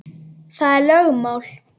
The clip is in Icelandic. Það er lögmál.